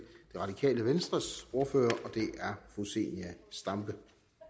radikale venstres ordfører og det er fru zenia stampe